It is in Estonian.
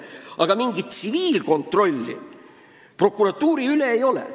Aga mingit tsiviilkontrolli prokuratuuri üle ei ole.